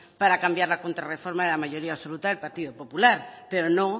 para cambiar la contrareforma de la mayoría absoluta del partido popular pero no